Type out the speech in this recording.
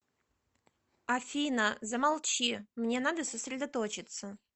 афина замолчи мне надо сосредоточеться